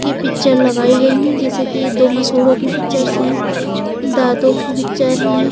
की पिक्चर लगाई गयी है जेसे की ये दो मसुडो की पिक्चर हैं दातो की पिक्चर है।